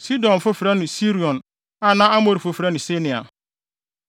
Sidonfo frɛ no Hermon Sirion na Amorifo frɛ no Senir.